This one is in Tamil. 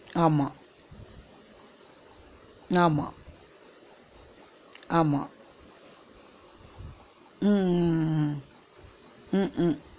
ஆமா ஆமா ஆமா உம் உம் உம் உம் உம்